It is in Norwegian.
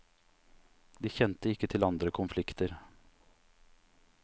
De kjente ikke til andre konflikter.